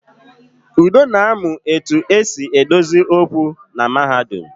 Udo na-amu etu e si edozi okwu na mahadum